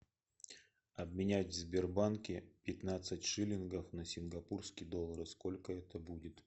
обменять в сбербанке пятнадцать шиллингов на сингапурские доллары сколько это будет